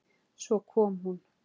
Svo kom hún.